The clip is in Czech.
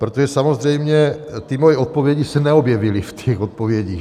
Protože samozřejmě ty moje odpovědi se neobjevily v těch odpovědích.